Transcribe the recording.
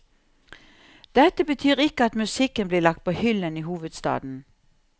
Dette betyr ikke at musikken blir lagt på hyllen i hovedstaden.